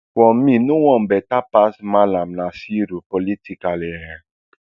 for me no one beta pass mallam nasiru politically um